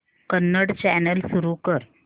Kannada channel सुरू कर